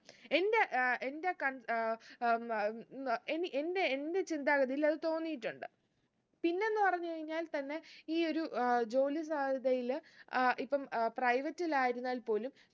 എന്റെ ഏർ എന്റെ കൺ ഏർ എനി എന്റെ എന്റെ ചിന്താഗതിയിൽ അത് തോന്നീട്ടുണ്ട് പിന്നെന്ന് പറഞ്ഞ് കഴിഞ്ഞാൽ തന്നെ ഈ ഒരു ഏർ ജോലി സാധ്യതയിൽ ആഹ് ഇപ്പൊ ആഹ് private ൽ ആയിരുന്നാൽ പോലും